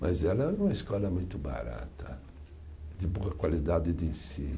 Mas ela é uma escola muito barata, de boa qualidade de ensino.